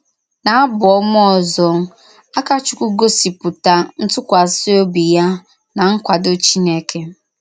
N’Ábù Ọ̀mà òzò, Àkàchùkwù gòsìpùtà ntùkwàsì òbì ya n’ nkwàdò Chínèkè.